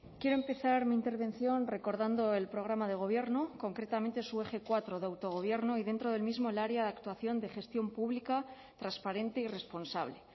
quiero empezar mi intervención recordando el programa de gobierno concretamente su eje cuatro de autogobierno y dentro del mismo el área de actuación de gestión pública transparente y responsable